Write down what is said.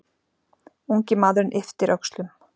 Ungi maðurinn ypptir öxlum.